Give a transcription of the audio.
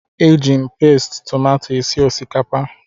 Eji pasti tomato esi osikapa